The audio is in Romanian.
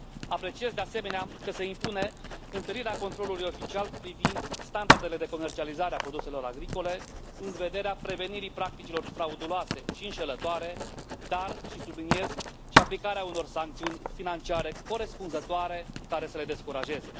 Apreciez, de asemenea, că se impune întărirea controlului oficial privind standardele de comercializare a produselor agricole în vederea prevenirii practicilor frauduloase și înșelătoare, dar și subliniez și aplicarea unor sancțiuni financiare corespunzătoare, care să le descurajeze.